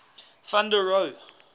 van der rohe